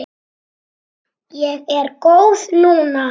Ég er góð núna.